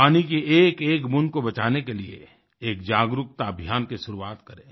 पानी की एकएक बूंद को बचाने के लिए एक जागरूकता अभियान की शुरुआत करें